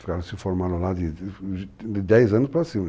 Ficaram, se formaram lá de de dez anos para cima.